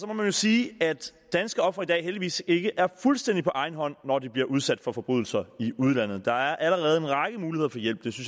må man sige at danske ofre i dag heldigvis ikke er fuldstændig på egen hånd når de bliver udsat for forbrydelser i udlandet der er allerede en række muligheder for hjælp det